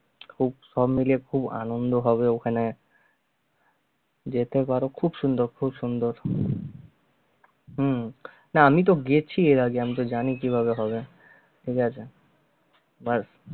খুব সব মিলিয়ে খুব আনন্দ হবে ওখানে যেতে কারও খুব সুন্দর খুব সুন্দর হম না আমি তো গেছি এর আগে আমিতো জানি কিভাবে হবে, ঠিগ আছে but